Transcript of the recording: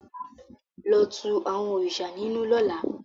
Lo tú àwọn òrìṣà ninu lọ́la!